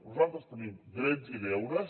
nosaltres tenim drets i deures